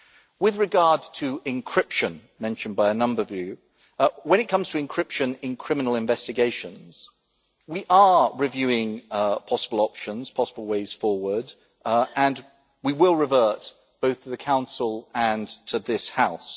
With regard to encryption mentioned by a number of you when it comes to encryption in criminal investigations, we are reviewing possible options and possible ways forward, and we will revert both to the Council and to this House.